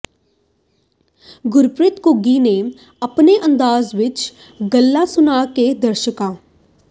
ਗੁਰਪ੍ਰੀਤ ਘੁੱਗੀ ਨੇ ਆਪਣੇ ਅੰਦਾਜ਼ ਵਿੱਚ ਗੱਲਾਂ ਸੁਣਾ ਕੇ ਦਰਸ਼ਕਾਂ